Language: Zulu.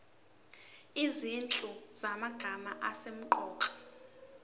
izinhlu zamagama asemqoka